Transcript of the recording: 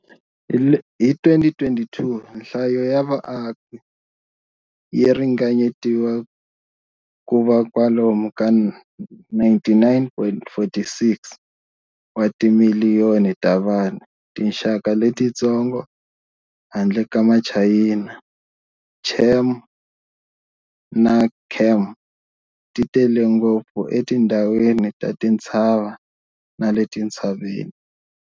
Hi 2022, nhlayo ya vaaki yi ringanyetiwa ku va kwalomu ka 99.46 wa timiliyoni ta vanhu. Tinxaka letitsongo, handle ka Machayina, Cham na Khmer, ti tele ngopfu etindhawini ta tintshava na le tintshaveni.